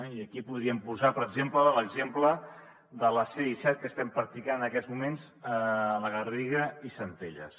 i aquí podríem posar per exemple l’exemple de la c disset que estem practicant en aquests moments a la garriga i centelles